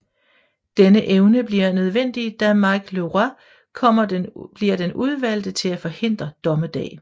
Denne evne bliver nødvendig da Mike LeRoi bliver den udvalgt til at forhindre dommedag